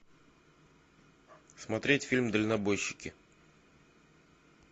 смотреть фильм дальнобойщики